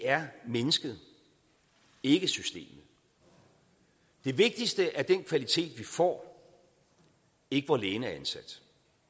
er mennesket ikke systemet det vigtigste er den kvalitet vi får ikke hvor lægen er ansat